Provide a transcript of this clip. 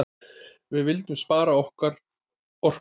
Við vildum spara okkar orku.